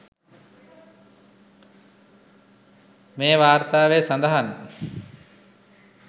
මේ වාර්තාවේ සඳහන්.